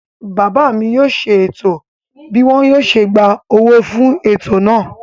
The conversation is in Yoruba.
Bàbá mi yóò ṣe ètò bí wọn yóò ṣe gba owó jọ fún ètò náà.